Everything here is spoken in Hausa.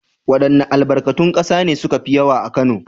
Waɗanns albarkatun ƙasa ne suka fi yawa a Kano?